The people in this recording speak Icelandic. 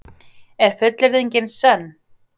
Er fullyrðingin sönn?